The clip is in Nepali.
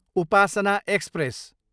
उपासना एक्सप्रेस